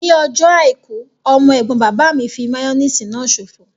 Ní ọjọ́ àìkú, ọmọ ẹ̀gbọ́n bàbá mi fí máyóníìsì náà ṣòfò